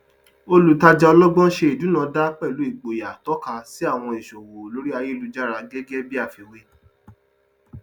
olùtàjà ọlọgbọn ṣe ìdúnàdàá pẹlú igboyà tọka sí àwọn ìṣòwò lórí ayélujára gẹgẹ bí afíwè